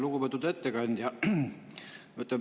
Lugupeetud ettekandja!